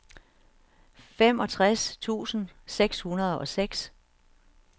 femogtres tusind seks hundrede og seks